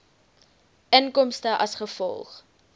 inkomste as gevolg